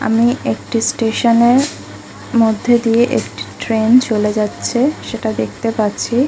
আমি একটি স্টেশনের মধ্যে দিয়ে একটি ট্রেন চলে যাচ্ছে সেটা দেখতে পাচ্ছি।